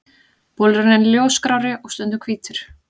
Bolurinn er ljósgrárri og stundum hvítur.